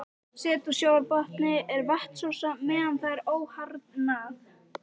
Set á sjávarbotni er vatnsósa meðan það er óharðnað.